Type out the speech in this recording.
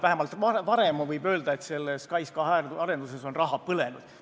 Vähemalt varem, võib öelda, on SKAIS2 arenduses raha põlenud.